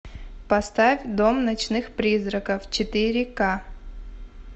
поставь дом ночных призраков четыре ка